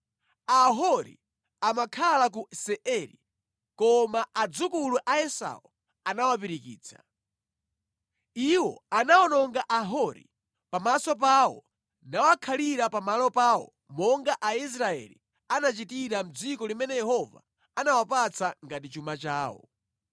Ahori amakhala ku Seiri koma adzukulu a Esau anawapirikitsa. Iwo anawononga Ahori pamaso pawo nawakhalira pamalo pawo monga Aisraeli anachitira mʼdziko limene Yehova anawapatsa ngati chuma chawo).